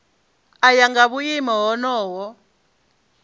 u ya nga vhuimo honoho